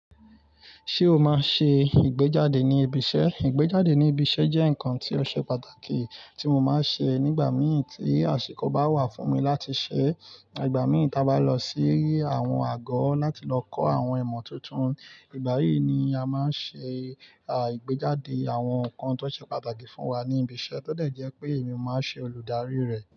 Ṣé o máa ṣe ìgbéjáde ní ibi iṣẹ́? Ìgbéjáde ní ibi iṣẹ́ jẹ́ nǹkan tó ṣe pàtàkì tí mo máa ń ṣe nígbàmii tí àsìkò bá wà fún mi láti ṣeẹ́. Igbà míi ta bá lọ sí àwọn àgoọ́ láti lọ kọ́ àwọn ìmọ̀ tuntun. Ìgbà yìí ni a máa ń ṣe à ìgbéjáde àwọn nǹkan tó ṣe pàtàkì fún wa ní ibi iṣẹ́. Ó dẹ̀ jẹ́ pé èmi máa n ṣe olùdarií rẹ̀.